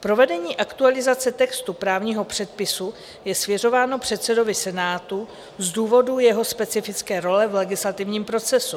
Provedení aktualizace textu právního předpisu je svěřováno předsedovi Senátu z důvodu jeho specifické role v legislativním procesu.